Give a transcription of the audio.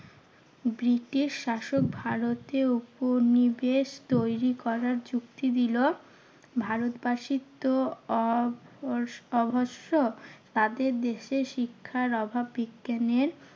British শাসক ভারতে উপনিবেশ তৈরী করার যুক্তি দিলো ভারতবাসীর তো অবশ~ অবশ্য তাদের দেশে শিক্ষার অভাব। বিজ্ঞানের